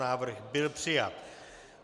Návrh byl přijat.